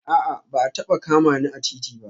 A'a ba a taba kama ni a titi ba